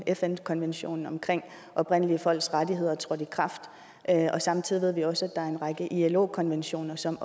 fn konventionen om oprindelige folks rettigheder trådte i kraft og samtidig ved vi også at der er en række ilo konventioner som